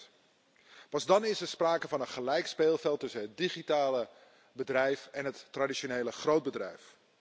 5 Pas dan is er sprake van een gelijk speelveld tussen het digitale bedrijf en het traditionele grootbedrijf.